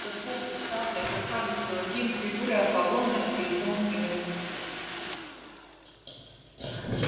высокий статный красавец-блондин с фигурой аполлона и лицом кинозвезды